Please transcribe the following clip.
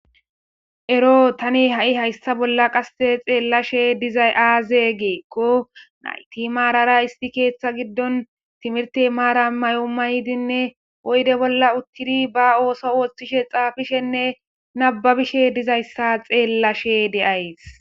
Ero tani ha'i hayssa bolla xellashe dizay azee gikko naytti marara issi keththa giddon timihirte maaran mayo mayidinne oydde bolla uuttidii ba ooso oththishe xaafishenne nababbishe dizayss abeyashe de'ayssii